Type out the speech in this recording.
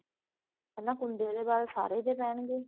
ਪਹਿਲਾਂ ਕੁੰਦੇ ਦੇ ਵਲ ਸਾਰੇ ਦੇ ਪੈਣਗੇ